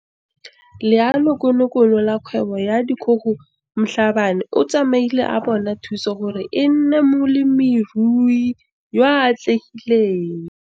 Leanokonokono la Kgwebo ya Dikgogo Mhlabane o tsamaile a bona thuso gore e nne molemirui yo o atlegileng.